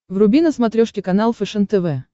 вруби на смотрешке канал фэшен тв